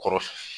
Kɔrɔ